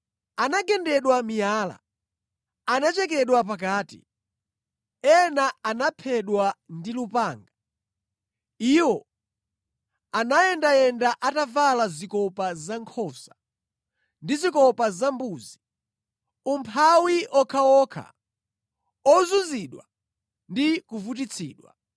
Anagendedwa miyala; anachekedwa pakati; ena anaphedwa ndi lupanga. Iwo anayendayenda atavala zikopa zankhosa ndi zikopa zambuzi, umphawi okhaokha, ozunzidwa ndi kuvutitsidwa.